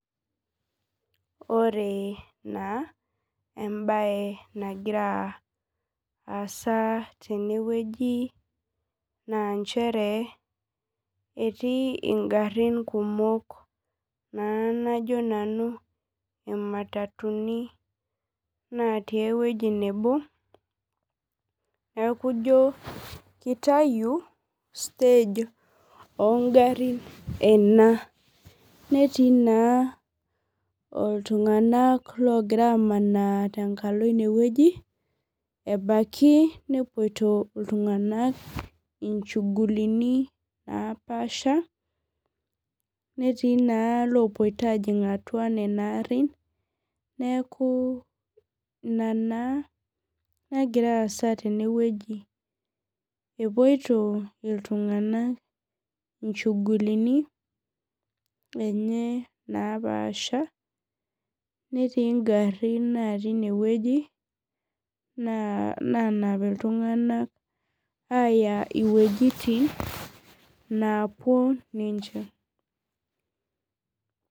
Ore naa embae nagira asa teneweji naa nchere naa etii ngarin kumok naa najo nanu imatatuni natii eweji nebo, neeku ijo kitayu staj oongarin ena .netii naa iltunganak loogira aamana tenkalo ineweji ,ebaiki nepoito iltunganak inchugulitin naapaasha ,netii naa lopoito ajing atua nena arin ,neeku ina naa nagira aasa teneweji. epoito naa iltunganak inchugulitin enye naapaasha ,netii ngarin natii ineweji naanap iltunganak aya wejitin napuo ninche.